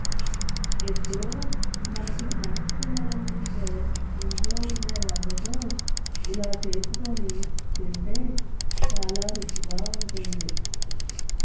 ఎప్పుడు మనకి స్నాక్స్ తినాలనిపిస్తే ఇంట్లో ఉండే రవ్వతో ఇలా చేసుకొని తింటే చాల రుచిగా ఉంటుంది